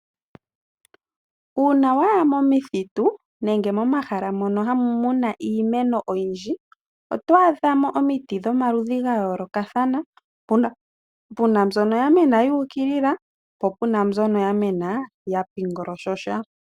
Uuna waya momithitu nenge momahala mono muna iimeno oyindji oto adhamo omiti dhomaludhi ga yoolokathana, puna mbyono yamena yu ukilila po pena mbyono yamena ya golyoka.